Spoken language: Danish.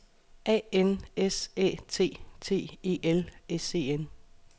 A N S Æ T T E L S E N